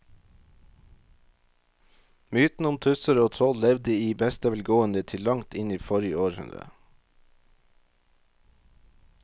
Mytene om tusser og troll levde i beste velgående til langt inn i forrige århundre.